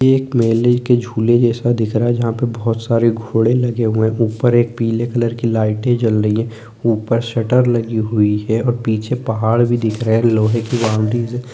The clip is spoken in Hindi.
ये एक मेले के झूले जैसा दिख रहा है जहाँ पर बहोत सारे घोड़े लगे हुए हैं ऊपर एक पीले कलर की लाइटे जल रही है ऊपर सटर लगी हुई है पीछे पहाड़ दिख रहे हैं लोहै की बाउंड्रीज --